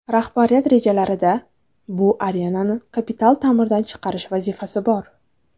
Rahbariyat rejalarida bu arenani kapital ta’mirdan chiqarish vazifasi bor.